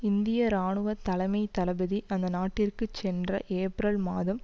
இந்திய இராணுவ தலைமை தளபதி அந்த நாட்டிற்கு சென்ற ஏப்ரல் மாதம்